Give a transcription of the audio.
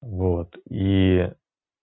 вот ии